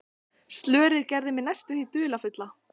Slörið gerði mig næstum því dularfulla.